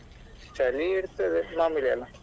ಚಳಿ ಇರ್ತದೆ ಮಾಮೂಲಿ ಅಲ್ಲಾ.